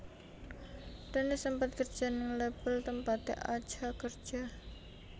Dennis sempet kerja ning label tempaté Acha kerja